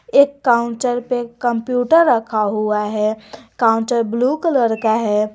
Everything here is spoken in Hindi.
एक काउंटर पर कंप्यूटर रखा हुआ है काउंटर ब्लू कलर का है।